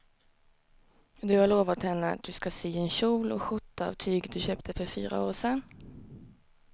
Du har lovat henne att du ska sy en kjol och skjorta av tyget du köpte för fyra år sedan.